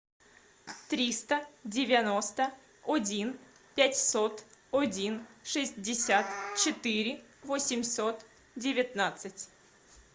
триста девяносто один пятьсот один шестьдесят четыре восемьсот девятнадцать